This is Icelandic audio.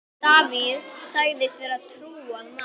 Davíð segist vera trúaður maður.